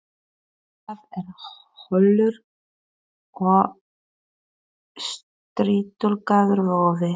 Hjartað er holur og strýtulagaður vöðvi.